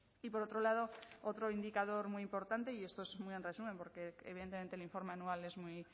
y por otro lado otro indicador muy importante y esto es muy en resumen porque evidentemente el informe anual es muy